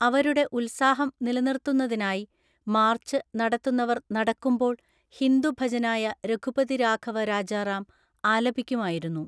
അവരുടെ ഉത്സാഹം നിലനിർത്തുന്നതിനായി, മാർച്ച് നടത്തുന്നവർ നടക്കുമ്പോൾ ഹിന്ദു ഭജനായ രഘുപതി രാഘവ രാജറാം ആലപിക്കുമായിരുന്നു.